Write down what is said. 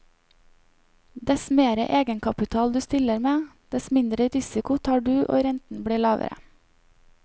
Dess mer egenkapital du stiller med, dess mindre risiko tar du og renten blir lavere.